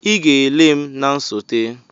Ị ga-ele m na nsote!